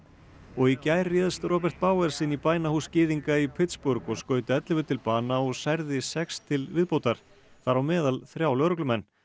og í gær réðst Robert Bowers inn í bænahús gyðinga í Pittsburgh og skaut ellefu til bana og særði sex til viðbótar þar á meðal þrjá lögreglumenn